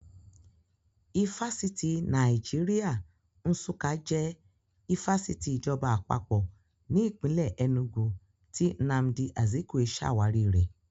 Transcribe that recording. Ifásitì Nàìjíríà Nsukka jẹ́ ifásitì ìjọba Àpapọ̀ ní ìpínlè Ẹnúgu tí Nnamdi Azikwe ṣàwárí rẹ̀